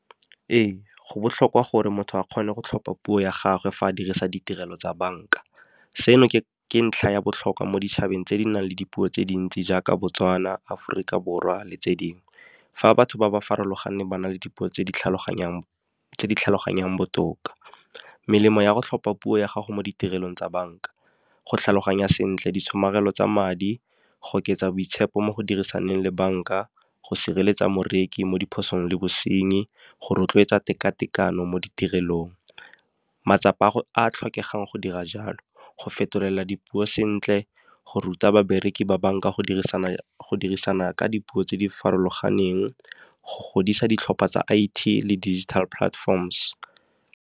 Ee go botlhokwa gore motho a kgone go tlhopha puo ya gagwe fa a dirisa ditirelo tsa banka, seno ke ntlha ya botlhokwa mo ditšhabeng tse di nang le dipuo tse dintsi jaaka Botswana, Aforika Borwa le tse dingwe. Fa batho ba ba farologaneng ba na le dipuo tse di tlhaloganyang botoka. Melemo ya go tlhopha puo ya gago mo ditirelong tsa banka. Go tlhaloganya sentle di tshomarelo tsa madi go oketsa boitshepo mo go dirisanang le banka, go sireletsa moreki mo diphosong le bosenyi, go rotloetsa teka-tekano mo ditirelong. Matsapa a tlhokegang go dira jalo, go fetolela dipuo sentle, go ruta babereki ba banka go dirisana ka dipuo tse di farologaneng go godisa ditlhopha tsa I_T le digital platforms.